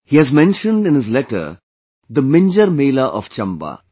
He has mentioned in his letter the 'Minjar Mela' of Chamba